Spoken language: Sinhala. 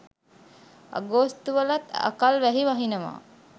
අගෝස්තු වලත් අකල් වැහි වහිනව.